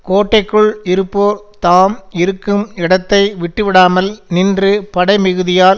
கோட்டைக்குள் இருப்போர் தாம் இருக்கும் இடத்தை விட்டுவிடாமல் நின்று படைமிகுதியால்